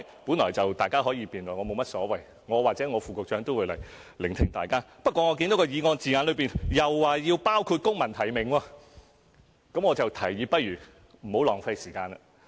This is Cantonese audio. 本來大家是可以辯論的，我無所謂，我或我的副局長會來聆聽大家的意見，可是我看見議案字眼又說要包括公民提名，便想提議大家不要浪費時間。